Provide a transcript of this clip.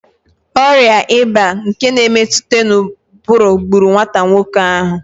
Ọrịạ ịba nke na-emetụta n'ụbụrụ gburu nwata nwoke ahụ